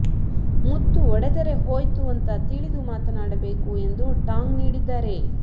ಮುತ್ತು ಒಡೆದರೆ ಹೋಯ್ತು ಅಂತ ತಿಳಿದು ಮಾತನಾಡಬೇಕು ಎಂದು ಟಾಂಗ್ ನೀಡಿದ್ದಾರೆ